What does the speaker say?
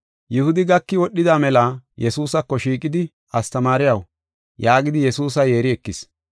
Yihudi gaki wodhida mela Yesuusako shiiqidi, “Astamaariyaw” yaagidi Yesuusa yeeri ekis.